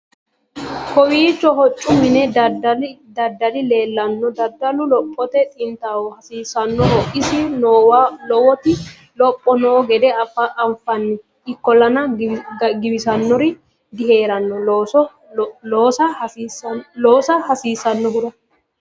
kawiicho hoccu mini dadali leellanno dadalu lophote xintaho hasiisannoho isi noowa lowoti lopho noo gede anfanni ikkollana giwisannori diheeranno loosa hasiissannnohura